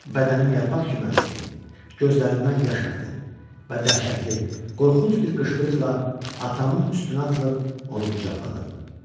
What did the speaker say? Bədənim yarpaq kimi əsdi, gözlərimdən yaş axdı və dəhşətli, qorxunc bir qışqırıqla atamın üstünə atılıb onu qucaqladım.